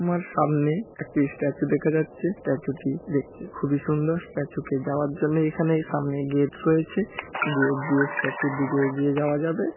আমার সামনে একটি স্ট্যাচু দেখা যাচ্ছে স্ট্যাচু -টি দেখতে খুবই সুন্দর স্ট্যাচু -কে যাওয়ার জন্য এখানেই সামনে গেট রয়েছে গেট দিয়ে স্ট্যাচু -এর দিকে এগিয়ে যাওয়া যাবে--